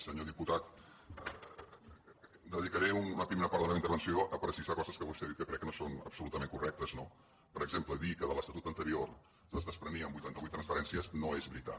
senyor diputat dedicaré una primera part de la meva intervenció a precisar coses que vostè ha dit que crec que no són absolutament correctes no per exemple dir que de l’estatut anterior es desprenien vuitanta vuit transferències no és veritat